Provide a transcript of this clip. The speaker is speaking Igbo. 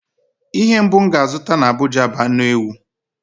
Ihe mbụ m ga-azụta n'Abụja bụ anu ewu.